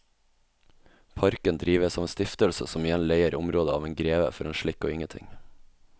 Parken drives av en stiftelse som igjen leier området av en greve for en slikk og ingenting.